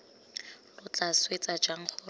lo tla swetsa jang gore